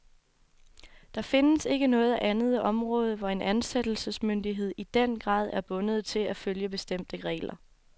Der findes ikke noget andet område, hvor en ansættelsesmyndighed i den grad er bundet til at følge bestemte regler.